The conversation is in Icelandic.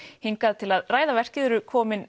hingað til að ræða verkið eru komin